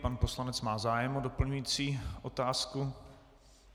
Pan poslanec má zájem o doplňující otázku.